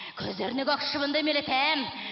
көздеріне көк шыбынды үймелетемін